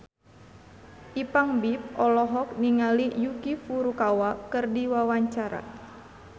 Ipank BIP olohok ningali Yuki Furukawa keur diwawancara